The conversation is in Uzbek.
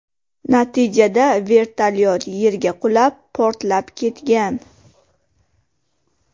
Natijada vertolyot yerga qulab, portlab ketgan.